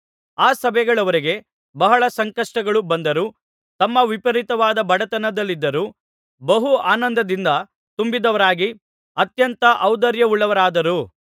ಆ ಸಭೆಗಳವರಿಗೆ ಬಹಳ ಸಂಕಷ್ಟಗಳು ಬಂದರೂ ತಮ್ಮ ವಿಪರೀತವಾದ ಬಡತನದಲ್ಲಿದ್ದರೂ ಬಹು ಆನಂದದಿಂದ ತುಂಬಿದವರಾಗಿ ಅತ್ಯಂತ ಔದಾರ್ಯವುಳ್ಳವರಾದರು